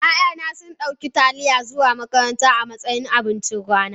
ya'yana sun dauki Taliya zuwa makaranta a matsayin abincin rana